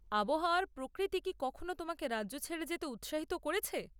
আবহাওয়ার প্রকৃতি কি কখনো তোমাকে রাজ্য ছেড়ে যেতে উৎসাহিত করেছে?